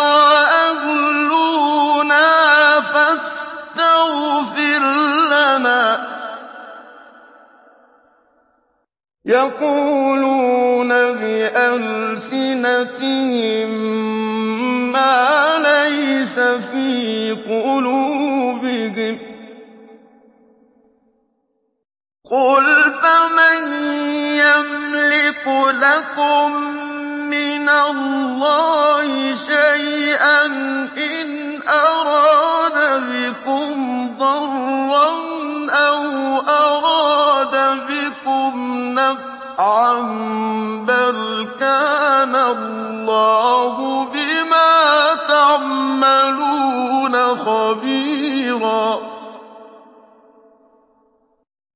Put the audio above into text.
وَأَهْلُونَا فَاسْتَغْفِرْ لَنَا ۚ يَقُولُونَ بِأَلْسِنَتِهِم مَّا لَيْسَ فِي قُلُوبِهِمْ ۚ قُلْ فَمَن يَمْلِكُ لَكُم مِّنَ اللَّهِ شَيْئًا إِنْ أَرَادَ بِكُمْ ضَرًّا أَوْ أَرَادَ بِكُمْ نَفْعًا ۚ بَلْ كَانَ اللَّهُ بِمَا تَعْمَلُونَ خَبِيرًا